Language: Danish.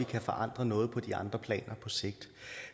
kan forandre noget på de andre planer på sigt